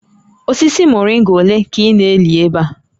Osisi moringa ole ka ị na-eli ebe a?